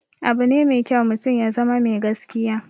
Abune mai kyau mutum ya zama mai gaskiya